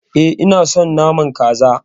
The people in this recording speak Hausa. E, ina son naman Kaza.